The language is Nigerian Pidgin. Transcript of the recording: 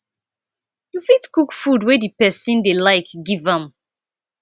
you fit cook food wey di person dey like give am